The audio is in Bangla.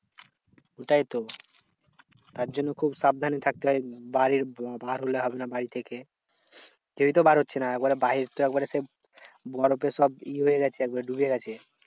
ওটাই তো তার জন্য খুব সাবধানে থাকতে হয়। বাড়ির বার হলে হবে না বাড়ি থেকে। কেউই তো বার হচ্ছে না, একবারে বাহির তো একবারে সেই বরফে সব ই হয়ে গেছে একেবারে ডুবে গেছে।